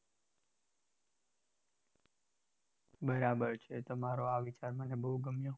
બરાબર છે તમારો આ વિચાર મને બહુ ગમ્યો